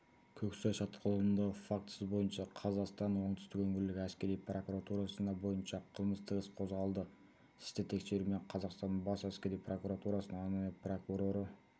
көксай шатқалындағы фактісі бойынша қазақстанның оңтүстік өңірлік әскери прокуратурасында бойынша қылмыстық іс қозғалды істі тексерумен қазақстанның бас әскери прокуратурасының арнайы прокуроры